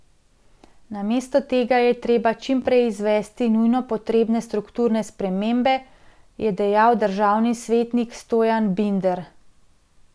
Namesto tega je treba čim prej izvesti nujno potrebne strukturne spremembe, je dejal državni svetnik Stojan Binder.